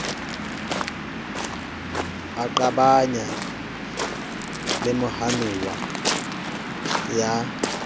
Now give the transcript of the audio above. a qabana le mohanuwa ya